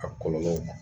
A kɔlɔlɔ